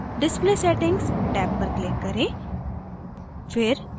tab display settings tab पर click करें